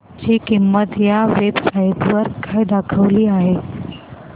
ची किंमत या वेब साइट वर काय दाखवली आहे